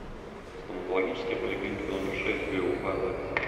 стоматологическая поликлиника номер шесть г уфа запись